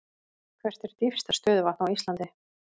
Hvert er dýpsta stöðuvatn á Íslandi?